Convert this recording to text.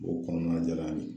B'o kɔɔna de la bi